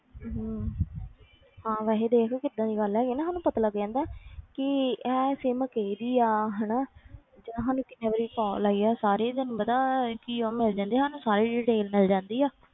ਹਮ ਹਾਂ ਵੈਸੇ ਦੇਖ ਕਿੱਦਾਂ ਦੀ ਗੱਲ ਹੈਗੀ ਨਾ ਸਾਨੂੰ ਪਤਾ ਲੱਗ ਜਾਂਦਾ ਕਿ ਇਹ sim ਕਿਹਦੀ ਆ ਹਨਾ ਜਾਂ ਸਾਨੂੰ ਕਿੰਨੇ ਵਾਰੀ call ਆਈ ਆ ਸਾਰੀ ਤੈਨੂੰ ਪਤਾ ਕੀ ਉਹ ਮਿਲ ਜਾਂਦੀ ਹੈ ਸਾਨੂੰ ਸਾਰੀ detail ਮਿਲ ਜਾਂਦੀ ਆ,